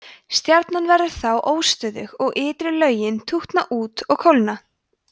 stjarnan verður þá óstöðug og ytri lögin tútna út og kólna